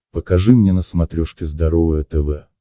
покажи мне на смотрешке здоровое тв